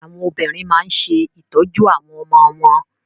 Àwọn obìnrin máa ń ṣe ìtọ́jú àwọn ọmọ wọn.